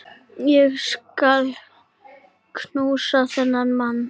Ég skal knúsa þennan mann!